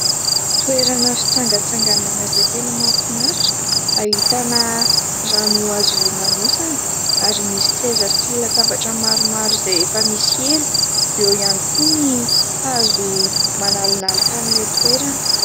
Toerana fitsangatsanganana izay tena mahafinatra, ahitana rano azo hilomanosana ary misy seza sy latabatra maromaro izay efa misy elo. Eo ihany koa ny hazo manalonaloka an'ilay toerana.